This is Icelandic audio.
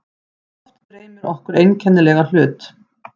Oft dreymir okkur einkennilega hlut.